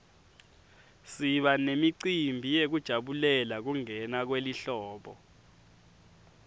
siba nemicimbi yekujabulela kungena kwelihlobo